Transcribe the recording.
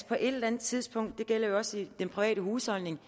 på et eller andet tidspunkt og det gælder jo også den private husholdning